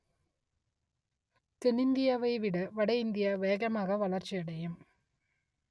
தென்னிந்தியாவை விட வடஇந்தியா வேகமாக வளர்ச்சியடையும்